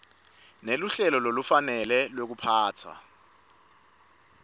neluhlelo lolufanele lwekuphatfwa